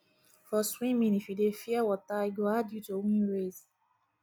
for swimming if you dey fear water e go hard you to win race